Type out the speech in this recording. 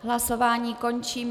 Hlasování končím.